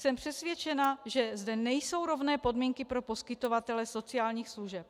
Jsem přesvědčena, že zde nejsou rovné podmínky pro poskytovatele sociálních služeb.